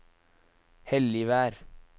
Helligvær